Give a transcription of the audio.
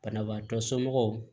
Banabaatɔ somɔgɔw